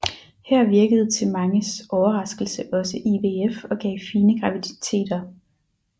Her virkede til manges overraskelse også IVF og gav fine graviditeter